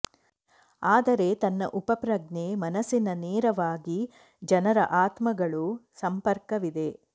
ಆದರೆ ತನ್ನ ಉಪಪ್ರಜ್ಞೆ ಮನಸ್ಸಿನ ನೇರವಾಗಿ ಜನರ ಆತ್ಮಗಳು ಸಂಪರ್ಕವಿದೆ